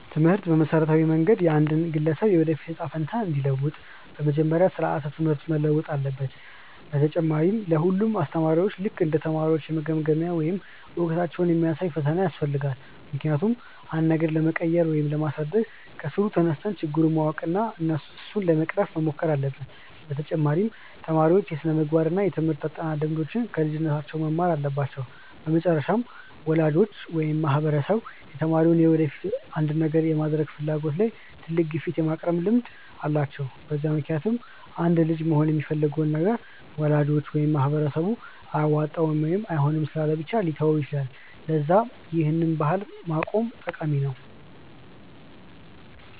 ትምህርት በመሠረታዊ መንገድ የአንድን ግለሰብ የወደፊት እጣ ፈንታ እንዲለውጥ፤ በመጀመሪያ ስራዓተ ትምህርት መለወጥ አለበት፣ በተጨማሪ ለ ሁሉም አስተማሪዎች ልክ እንደ ተማሪዎች የመገምገሚያ ወይም እውቀታቸውን የሚያሳይ ፈተና ያስፈልጋል፤ ምክንያቱም አንድን ነገር ለመቀየር ወይም ለማሳደግ ከስሩ ተነስተን ችግሩን ማወቅ እና እሱን ለመቅረፍ መሞከር አለብን፤ በተጨማሪ ተማሪዎች የስነምግባር እና የትምርህት አጠናን ልምዶችን ከልጅነታቸው መማር አለባቸው፤ በመጨረሻም ወላጆች ወይም ማህበረሰብ የተማሪዎች የወደፊት አንድን ነገር የመሆን ፍላጎት ላይ ትልቅ ግፊት የማቅረብ ልምድ አላቸው፤ በዛ ምክንያትም አንድ ልጅ መሆን የሚፈልገውን ነገር ወላጅ ወይም ማህበረሰብ አያዋጣም ወይም አይሆንም ስላሉ ብቻ ሊተወው ይችላል፤ ለዛ ይህን ባህል ማቆም ጠቃሚ ነው።